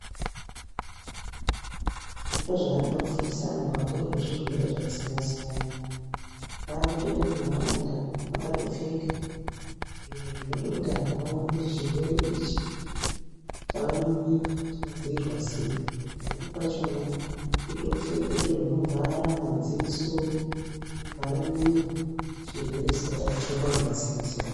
Kufundisa zviro, chirwere ichi kupfeke